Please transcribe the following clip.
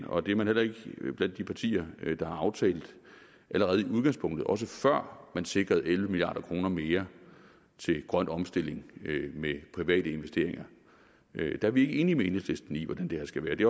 og det er man heller ikke blandt de partier der har aftalt det allerede i udgangspunktet også før man sikrede elleve milliard kroner mere til grøn omstilling med private investeringer var vi ikke enige med enhedslisten i hvordan det her skal være det